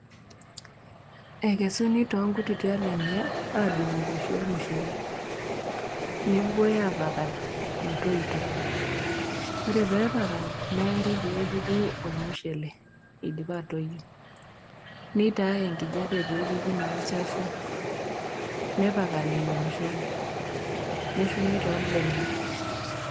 Ekesuni too nkutiti alemia adungu inkweshi olmushele, nepuoi aapakal metoito, ore pee epakali, neari pee epuku olmushele eidipa atoiyo, neitaai enkijape naa peepuku naa olchafu, nepakali ilo mushele neshumi toolbenia.